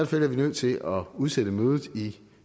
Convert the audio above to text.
fald er vi nødt til at udsætte mødet i